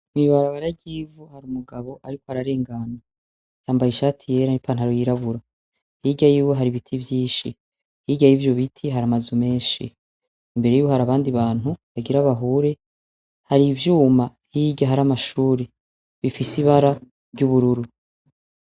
Mwibarabara ry’ivu hari umugabo ariko ararengana yambaye ishati yera n’ipantaro y’irabura, hirya yiwe hari ibiti vyinshi, hirya yivyo biti hari amazu menshi , imbere yiwe hari abandi bantu bagira bahure, hari ivyuma hirya hari amashure bifise ibara ry’ubururu.